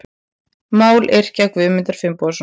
Mályrkja Guðmundar Finnbogasonar.